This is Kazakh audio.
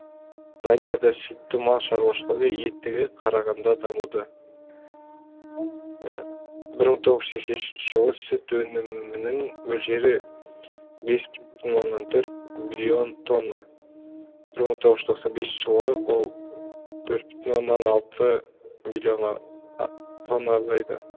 данияда сүтті мал шаруашылығы еттіге қарағанда дамуды бір мың тоғыз жүз сексен үшінші жылы сүт өнімінің мөлшері бес бүтін оннан төрт миллион тонна бір мың тоғыз жүз тоқсан бесінші жылы ол төрт бүтін оннан алты миллион тонна азайды